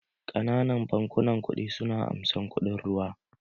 Ƙananan bankunan kuɗi su na amsan kuɗin ruwa.